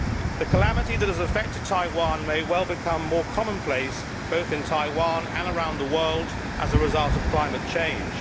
The calamity that has affected Taiwan may well become more commonplace, both in Taiwan and around the world, as a result of climate change.